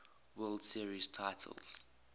world series titles